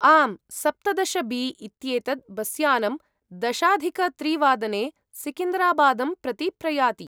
आम्, सप्तदश बी इत्येतद् बस्यानं दशाधिकत्रिवादने सिकन्दराबादं प्रति प्रयाति।